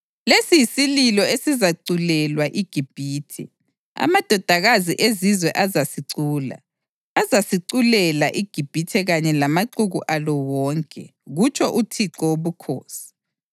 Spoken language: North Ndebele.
Lesi yisililo esizaculelwa iGibhithe. Amadodakazi ezizwe azasicula: azasiculela iGibhithe kanye lamaxuku alo wonke, kutsho uThixo Wobukhosi.”